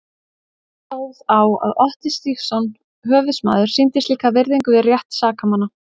Hvernig stóð á að Otti Stígsson höfuðsmaður sýndi slíka virðingu við rétt sakamanna?